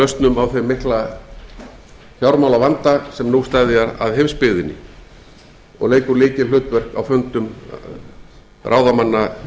lausnum á þeim mikla fjármálavanda sem nú steðjar að heimsbyggðinni hann leikur jafnframt lykilhlutverk á fundum ráðamanna